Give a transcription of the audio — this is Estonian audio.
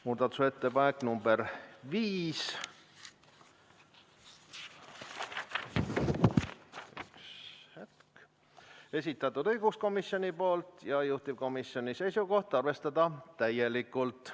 Muudatusettepanek nr 5, esitanud õiguskomisjon, juhtivkomisjoni seisukoht: arvestada täielikult.